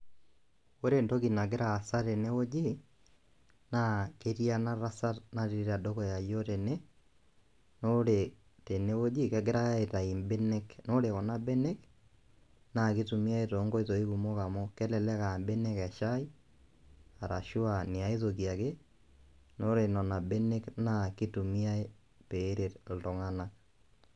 Ore entoki nagira aasa tene wueji naa ketii ena tasat naatii tedukuya iyiook tene naa ore tene wueji naa kegirae aitayu mbenek. Naa ore kuna benek naa kitumiay too nkoitoi kumok oleng amu kelelek aa mbenek eshai arashu iniay toki ake naa ore nena benek naa kitumiay peret iltunganak.